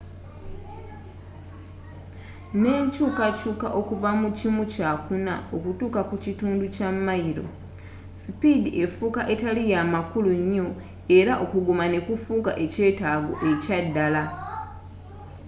n'enkyukakyuka okuva mu kimu kya kuna okutuuka ku kitundu kya mayiro sipiidi efuuka etali ya makulu nnyo era okuguma ne kufuuka ekyetaago ekya ddala